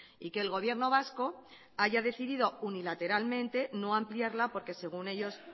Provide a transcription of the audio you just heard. y que el gobierno vasco haya decidido unilateralmente no ampliarla porque según ellos